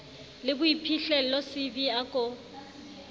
le boiphihlello cv a ko